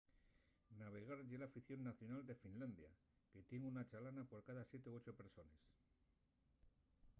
navegar ye l'afición nacional de finlandia que tien una chalana por cada siete o ocho persones